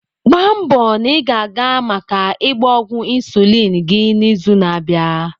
Gbaa nbo na ị ga-aga maka ịgba ọgwụ insulin gị n'izu na-abịa.